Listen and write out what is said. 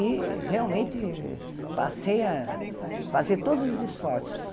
E realmente passei a fazer todos os esforços